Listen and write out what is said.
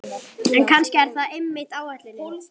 En kannski er það einmitt ætlunin.